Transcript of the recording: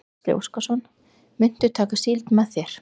Gísli Óskarsson: Muntu taka síld með þér?